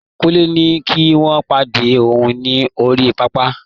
Kunle ní kí wọ́n pàdé òun ní orí pápá.